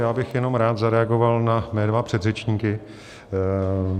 Já bych jenom rád zareagoval na mé dva předřečníky.